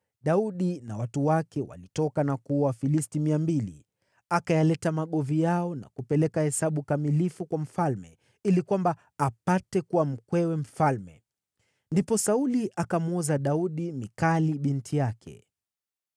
Daudi na watu wake walitoka na kuwaua Wafilisti mia mbili. Akayaleta magovi yao na kupeleka hesabu kamilifu kwa mfalme, ili kwamba apate kuwa mkwewe mfalme. Ndipo Sauli akamwoza Daudi Mikali binti yake.